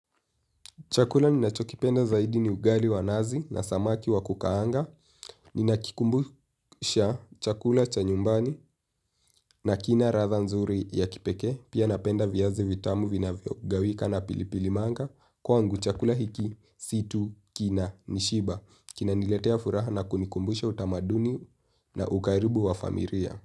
Chakula ninachokipenda zaidi ni ugali wa nazi na samaki wa kukaanga. Ninakikumbusha chakula cha nyumbani na kina ratha nzuri ya kipeke. Pia napenda viyazi vitamu vinavyo gawika na pilipili manga. Kwangu chakula hiki, si tu, kina, nishiba. Kina niletea furaha na kunikumbusha utamaduni na ukaribu wa familia.